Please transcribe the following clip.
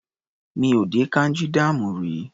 Mi ò dé Kanji dam rí.